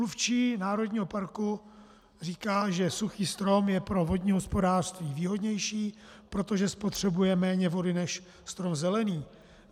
Mluvčí národního parku říká, že suchý strom je pro vodní hospodářství výhodnější, protože spotřebuje méně vody než strom zelený.